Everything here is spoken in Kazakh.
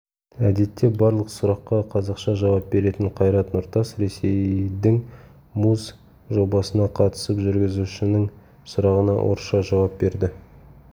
әдетте барлық сұраққа қазақша жауап беретін қайрат нұртас ресейдіңмуз жобасына қатысып жүргізушінің сұрағына орысша жауап берді